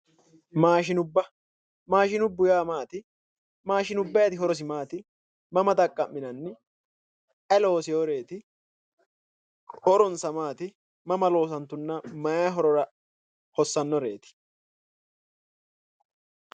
Maashinubba maashinubbu yaa maati maashinubbayiti horosi maati mama xaqqa'minanni ayi looseworeeti horonsa maati mama loosantunna mayi horora hossannoreeti